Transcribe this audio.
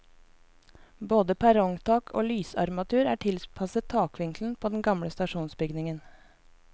Både perrongtak og lysarmaturer er tilpasset takvinkelen på den gamle stasjonsbygningen.